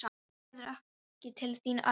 Hringdi Gerður ekki til þín, Örn?